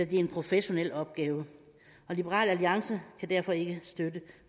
det er en professionel opgave liberal alliance kan derfor ikke støtte